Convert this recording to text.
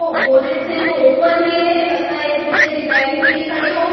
वो बोनट्स हैं वो ओपन है लगता है जैसे रिपेयरिंग के लिए खड़ी हों।